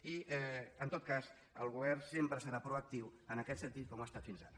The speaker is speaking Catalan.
i en tot cas el govern sempre serà proactiu en aquest sentit com ho ha estat fins ara